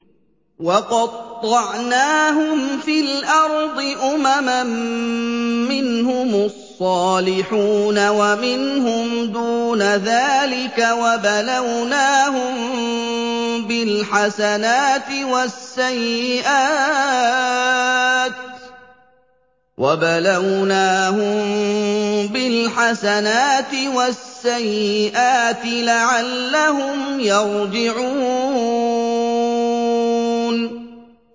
وَقَطَّعْنَاهُمْ فِي الْأَرْضِ أُمَمًا ۖ مِّنْهُمُ الصَّالِحُونَ وَمِنْهُمْ دُونَ ذَٰلِكَ ۖ وَبَلَوْنَاهُم بِالْحَسَنَاتِ وَالسَّيِّئَاتِ لَعَلَّهُمْ يَرْجِعُونَ